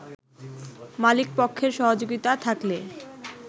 মালিকপক্ষের সহযোগিতা থাকলে